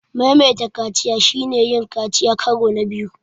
Maimaita kaciya shine yin kaciya karo na biyu.